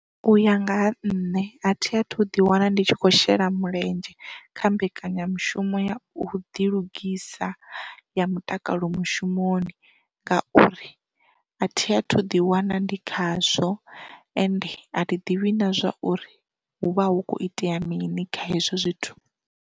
U ya nga ha nṋe a thi a thu ḓi wana ndi tshi khou shela mulenzhe kha mbekanyamushumo ya u ḓi lugisa ya mutakalo mushumoni ngauri, a thi a thu ḓi wana ndi khazwo ende a thi ḓivhi na zwa uri hu vha hu khou itea mini kha hezwo zwithu.